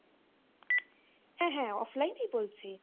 হ্যাঁ হ্যাঁ offline ই বলছি।